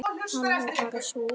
Alveg bara súr